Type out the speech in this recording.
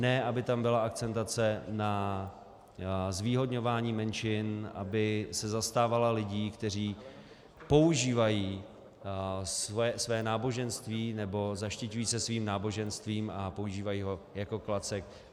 Ne aby tam byla akcentace na zvýhodňování menšin, aby se zastávala lidí, kteří používají své náboženství, nebo zaštiťují se svým náboženstvím a používají ho jako klacek.